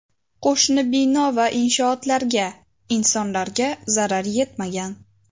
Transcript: Qo‘shni bino va inshootlarga, insonlarga zarar yetmagan.